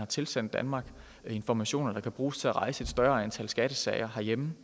tilsender danmark informationer der kan bruges til at rejse et større antal skattesager herhjemme